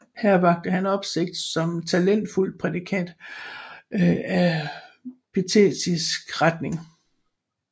Her vakte han opsigt som talentfuld prædikant af pietistisk retning